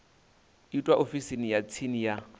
itwa ofisini ya tsini ya